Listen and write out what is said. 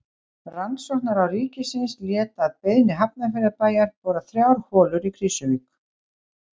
Rannsóknaráð ríkisins lét að beiðni Hafnarfjarðarbæjar bora þrjár holur í Krýsuvík.